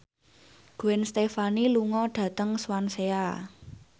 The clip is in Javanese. Gwen Stefani lunga dhateng Swansea